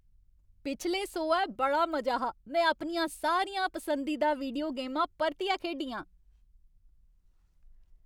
पिछले सोहै बड़ा मजा हा। में अपनियां सारियां पसंदीदा वीडियो गेमां परतियै खेढियां।